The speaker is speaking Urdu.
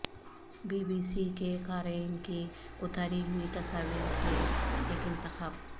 بی بی سی کے قارئین کی اتاری ہوئی تصاویر سے ایک انتخاب